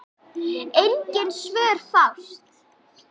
Engin svör fást.